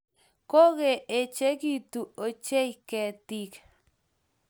Kigoechigitu ochei ketik